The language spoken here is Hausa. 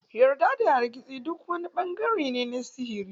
Yarda da hargitsi; duk wani bangare ne na sihiri.